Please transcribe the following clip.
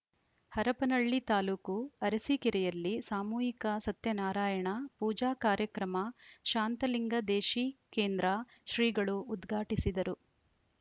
ಹರಪನಹಳ್ಳಿ ತಾಲೂಕು ಅರಸಿಕೇರಿಯಲ್ಲಿ ಸಾಮೂಹಿಕ ಸತ್ಯನಾರಾಯಣ ಪೂಜಾ ಕಾರ್ಯಕ್ರಮ ಶಾಂತಲಿಂಗದೇಶಿಕೇಂದ್ರ ಶ್ರೀಗಳು ಉದ್ಘಾಟಿಸಿದರು